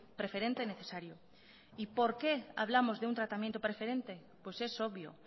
preferente necesario y por qué hablamos de un tratamiento preferente pues es obvio